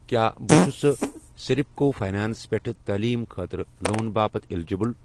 کیٛاہ بہٕ چھُسہٕ سِرپکو فاینانٛس پٮ۪ٹھ تعلیٖم خٲطرٕ لون باپتھ الیجبل؟